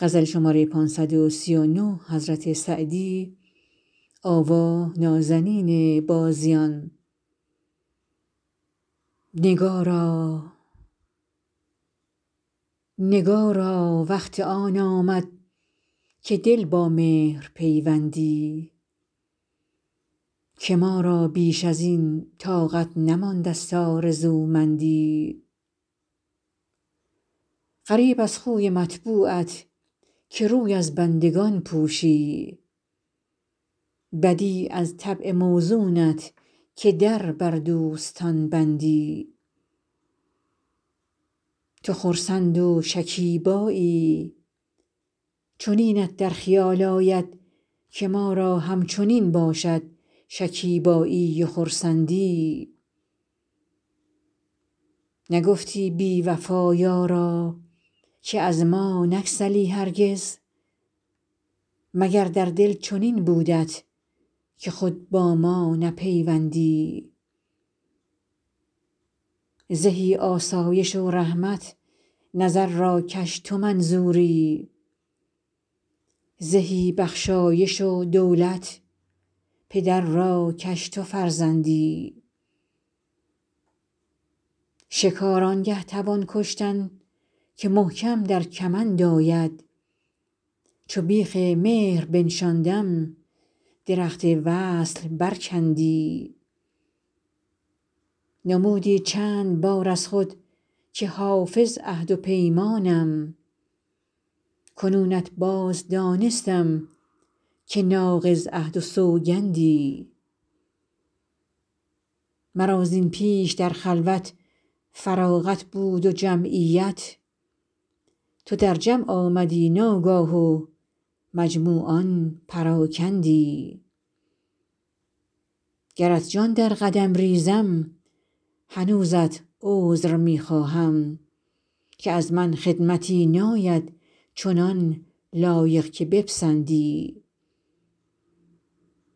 نگارا وقت آن آمد که دل با مهر پیوندی که ما را بیش از این طاقت نمانده ست آرزومندی غریب از خوی مطبوعت که روی از بندگان پوشی بدیع از طبع موزونت که در بر دوستان بندی تو خرسند و شکیبایی چنینت در خیال آید که ما را همچنین باشد شکیبایی و خرسندی نگفتی بی وفا یارا که از ما نگسلی هرگز مگر در دل چنین بودت که خود با ما نپیوندی زهی آسایش و رحمت نظر را کش تو منظوری زهی بخشایش و دولت پدر را کش تو فرزندی شکار آن گه توان کشتن که محکم در کمند آید چو بیخ مهر بنشاندم درخت وصل برکندی نمودی چند بار از خود که حافظ عهد و پیمانم کنونت باز دانستم که ناقض عهد و سوگندی مرا زین پیش در خلوت فراغت بود و جمعیت تو در جمع آمدی ناگاه و مجموعان پراکندی گرت جان در قدم ریزم هنوزت عذر می خواهم که از من خدمتی ناید چنان لایق که بپسندی